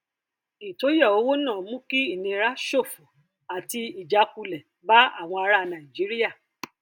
ìtóyà owó náà mú ìnira ṣòfò àti ìjákulẹ bá àwọn ará nàìjíríà